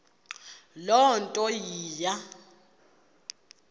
loo nto iya